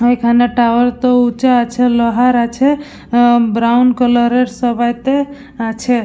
এখানে টাওয়ার তো উচা আছে লোহার আছে আ ব্রাউন কালার -এর সবেইতে আছে।